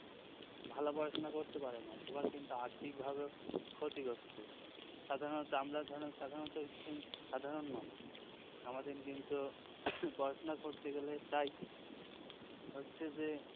ভালো পড়াশুনা করতে পারে না সবার কিন্তু আর্থিকভাবে ক্ষতিগ্রস্ত সাধারণত আমরা ধরুন সাধারণত একশ্রেণীর সাধারণ মানুষ আমাদের কিন্তু পড়াশুনা করতে গেলে প্রায় হচ্ছে যে